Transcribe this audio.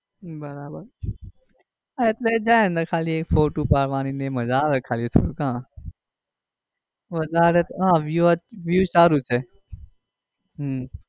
હમ બરાબર એટલે જાય અંદર ખાલી એક ફોટો પાડવાની એ માજા આવે ખાલી હમ વધારે તો view view સારું છે